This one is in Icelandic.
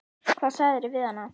Hvað sagðirðu við hana?